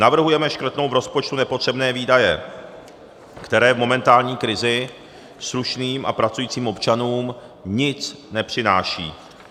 Navrhujeme škrtnout v rozpočtu nepotřebné výdaje, které v momentální krizi slušným a pracujícím občanům nic nepřinášejí.